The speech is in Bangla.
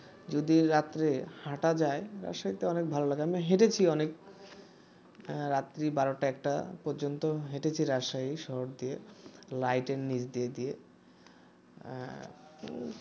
যদি রাত্রে হাঁটা যায় সেটা অনেক ভালো লাগে আমি হেঁটেছি অনেক রাত্রি বারোটা একটা পর্যন্ত হেঁটেছি রাজশাহী শহর দিয়ে লাইটের নিচ দিয়ে দিয়ে আহ